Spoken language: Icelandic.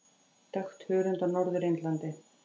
Dökkt hörund á Norður Indlandi.